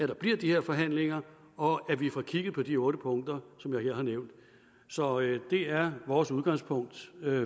der bliver de her forhandlinger og at vi får kigget på de otte punkter som jeg her har nævnt så det er vores udgangspunkt